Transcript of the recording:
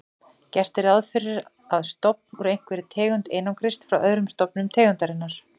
Gert er ráð fyrir að stofn úr einhverri tegund einangrist frá öðrum stofnum tegundarinnar.